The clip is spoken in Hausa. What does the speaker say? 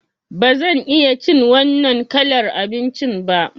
Ba zan iya cin wannan kalar abincin ba.